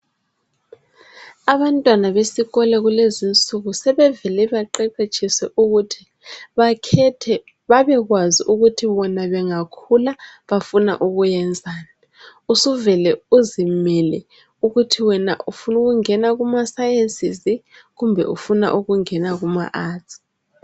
Abantwana besikolo kulezi insuku sebevele baqeqetshiswe ukuthi bakhethe babekwazi ukuthi bona bengakhula bafuna ukwenzani. Usuvele uzimele ukuthi wena ufuna ukungena kuma"sciences" kumbe ufuna ukungena kuma "Arts".